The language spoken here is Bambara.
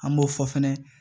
An b'o fɔ fɛnɛ